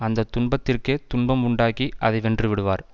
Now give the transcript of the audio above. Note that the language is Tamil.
அந்த துன்பத்திற்கே துன்பம் உண்டாக்கி அதை வென்று விடுவார்